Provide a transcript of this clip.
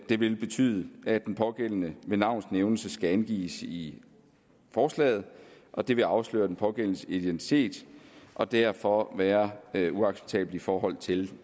det vil betyde at den pågældende med navns nævnelse skal angives i forslaget og det vil afsløre den pågældendes identitet og derfor være være uacceptabelt i forhold til